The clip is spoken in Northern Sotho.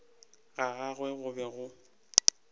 ga gagwe go be go